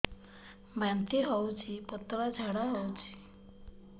ବାନ୍ତି ହଉଚି ପତଳା ଝାଡା ହଉଚି